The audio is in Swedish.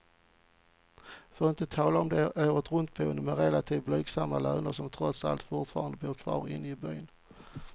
För att inte tala om de åretruntboende med relativt blygsamma löner, som trots allt fortfarande bor kvar inne i byn.